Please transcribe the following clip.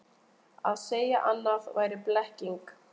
Að segja annað væri blekking